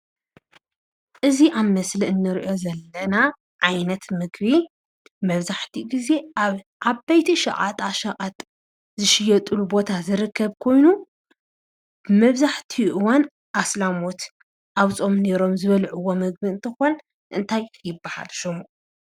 እዚ ኣብ ምስሊ እንሪኦ ዘለና ዓይነት ምግቢ መብዛሕቲኡ ግዜ ኣብ ዓበይቲ ሸቐጣሸቐጥ ዝሽየጥሉ ቦታ ዝርከብ ኮይኑ መብዛሕቲኡ እዋን ኣስላሞት ኣብ ፆም ኔሮም ዝበልዕዎ ምግቢ እንትኾን እንታይ ይብሃል ሽሙ?